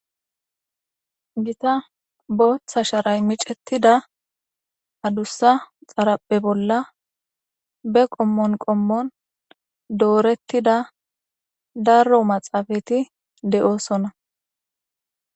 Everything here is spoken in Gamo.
gita booththa sharay micetida adussa xaraphe bolla be qommon qommon doorettida darro maxaafati de'osona.